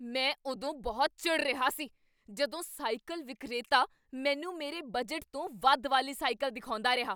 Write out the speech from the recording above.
ਮੈਨੂੰ ਉਦੋਂ ਬਹੁਤ ਚਿੜ੍ਹ ਰਿਹਾ ਸੀ ਜਦੋਂ ਸਾਈਕਲ ਵਿਕਰੇਤਾ ਮੈਨੂੰ ਮੇਰੇ ਬਜਟ ਤੋਂ ਵੱਧ ਵਾਲੀ ਸਾਈਕਲ ਦਿਖਾਉਂਦਾ ਰਿਹਾ।